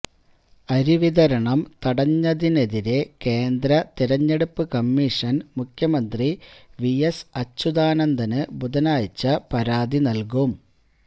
അരിവിതരണം തടഞ്ഞതിനെതിരെ കേന്ദ്ര തെരഞ്ഞെടുപ്പ് കമീഷന് മുഖ്യമന്ത്രി വി എസ് അച്യുതാനന്ദന് ബുധനാഴ്ച പരാതി നല്കും